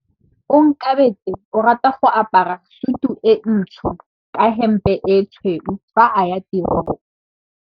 Onkabetse o rata go apara sutu e ntsho ka hempe e tshweu fa a ya tirong.